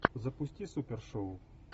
запусти супершоу